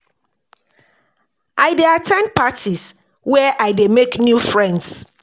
I dey at ten d parties where I dey make new friends.